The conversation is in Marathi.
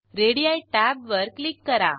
रेडी टॅबवर क्लिक करा